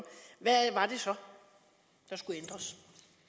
hvad var det så der skulle ændres